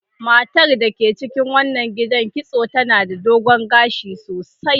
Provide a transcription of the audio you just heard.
Matar da ke cikin wannan gidan kitso tana da dogon gashi sosai.